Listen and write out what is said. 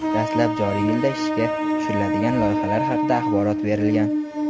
dastlab joriy yilda ishga tushiriladigan loyihalar haqida axborot berilgan.